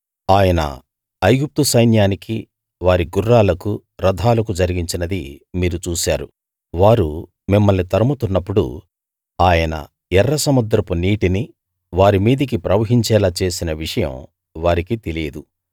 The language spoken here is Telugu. ఆయన ఐగుప్తు సైన్యానికి వారి గుర్రాలకు రథాలకు జరిగించినది మీరు చూశారు వారు మిమ్మల్ని తరుముతున్నప్పుడు ఆయన ఎర్రసముద్రపు నీటిని వారి మీదకి ప్రవహించేలా చేసిన విషయం వారికి తెలియదు